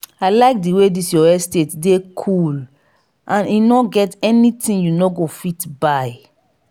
i like the way dis your estate dey cool and e no get anything you no go fit buy.